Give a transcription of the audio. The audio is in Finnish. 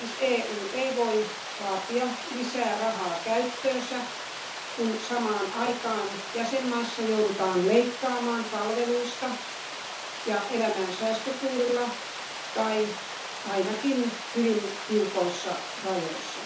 EU ei voi vaatia lisää rahaa käyttöönsä, kun samaan aikaan jäsenmaissa joudutaan leikkaamaan palveluista ja elämään säästökuurilla tai ainakin hyvin tiukoissa rajoissa.